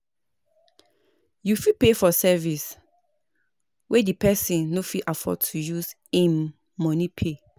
You fit pay for service wey di person no fit afford to use im money pay